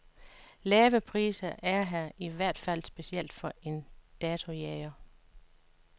Lave priser er her, i hvert fald specielt for en datojæger.